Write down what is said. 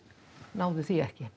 náðum því ekki